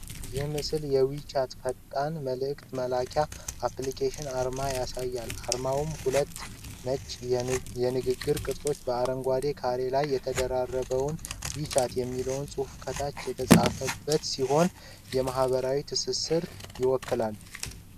ይህ ምስል የዌቻት (WeChat) ፈጣን መልዕክት መላላኪያ አፕሊኬሽን አርማን ያሳያል። አርማውም ሁለት ነጭ የንግግር ቅርጾች በአረንጓዴ ካሬ ላይ ተደራርበውና "WeChat" የሚል ጽሑፍ ከታች የተጻፈበት ሲሆን፣ የማኅበራዊ ትስስርን ይወክላል።